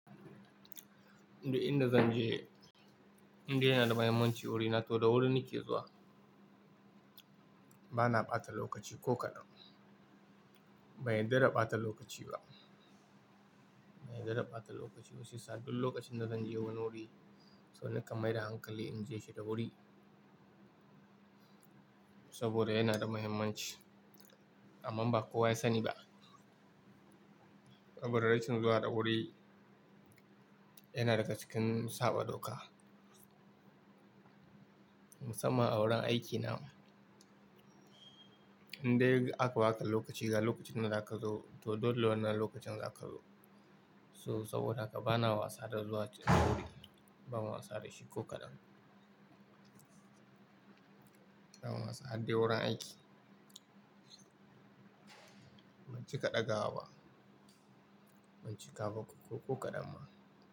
Duk inda zan je, indai yana da mahimmanci wuri na toh da wuri nake zuwa. Bana ɓata lokaci ko kaɗan. Ban yarda da ɓata lokaci ba. Ban yarda da ɓata lokaci ba shiyasa duk lokacin da zan je wani wuri, so nakan mai da hankali in je shi da wuri. Saboda yana da mahimmanci amma ba kowa ya sani ba. Saboda rashin zuwa da wuri yana daga cikin saɓa doka. Musamman a wurin aikina. Indai aka ba ka lokaci ga lokacin da zaka zo toh dole wannan lokacin zaka zo. So saboda haka bana wasa da zuwa cikin wuri. Ban wasa da shi ko kaɗan. Ban wasa har dai wurin aiki. Ban cika ɗaga wa ba. Ban cika ba ko kaɗan ma.